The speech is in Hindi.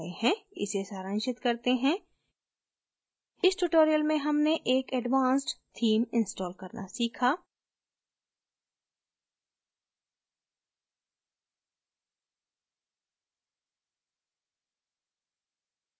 इसे सारांशित करते हैं इस tutorial में हमने एक advanced theme install करना सीखा